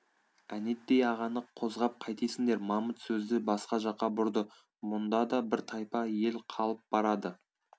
әнетей ағаны қозғап қайтесіңдер мамыт сөзді басқа жаққа бұрды мұнда да бір тайпа ел қалып барады